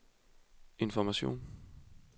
information